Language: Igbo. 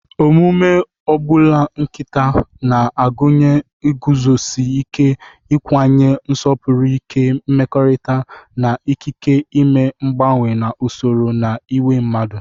Omume agbulu nkita na-agụnye iguzosi ike ikwanye nsopuru ike mmekọrịta, na ikike ime mgbanwe na usoro na iwu mmadụ.